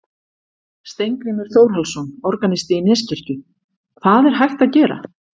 Steingrímur Þórhallsson, organisti í Neskirkju: Hvað er hægt að gera?